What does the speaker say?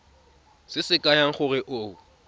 se se kaya gore o